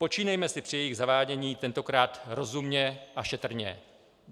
Počínejme si při jejich zavádění tentokrát rozumně a šetrně.